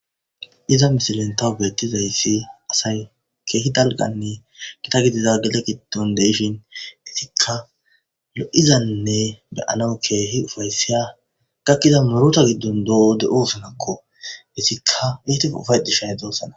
Iza misilen taw beettizayssi asay keehi dalganne gita gidida gede giddon de7ishin disikka lo7izanne be7anaw keehi ufaysiya gakkiza murota giddon de7o de7oosanakko. Qesikka etI ufayxishe de7osana.